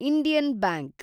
Indian bank